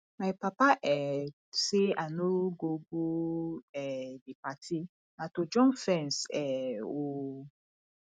my papa um say i no go go um the party na to jump fence um oo